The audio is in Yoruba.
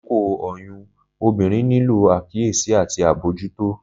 Lakoko oyun, obinrin nilo akiyesi ati abojuto